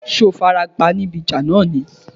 Ṣé o farapa níbi ìjà náà ni?